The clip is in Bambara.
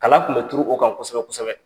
Kala tun bɛ turu o kan kosɛbɛ-kosɛbɛ.